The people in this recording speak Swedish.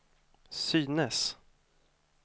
synes